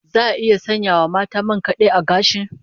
Za a iya sanya wa mata man kad'e a gashi?